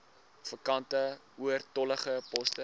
vakante oortollige poste